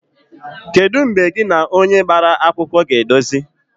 Kedu mgbe gị na onye gbara akwụkwọ ga-edozi?